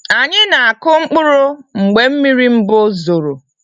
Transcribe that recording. Anyị n'akụ mkpụrụ mgbe mmiri mbu zoro.